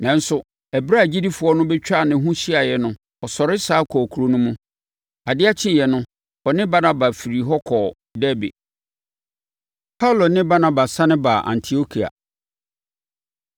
Nanso, ɛberɛ a agyidifoɔ no bɛtwaa ne ho hyiaeɛ no, ɔsɔre sane kɔɔ kuro no mu. Adeɛ kyeeɛ no, ɔne Barnaba firii hɔ kɔɔ Derbe. Paulo Ne Barnaba Sane Ba Antiokia